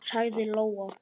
sagði Lóa.